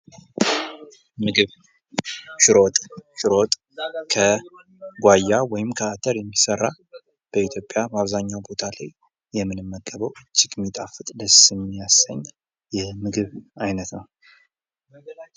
ምግብ ። ሽሮ ወጥ ፡ ሽሮ ወጥ ከጓያ ወይም ከአተር የሚሰራ በኢትዮጵያ በአብዛኛው ቦታ ላይ የምንመገበው እጅግ ሚጣፍጥ ደስ የሚያሰኝ የምግብ አይነት ነው ።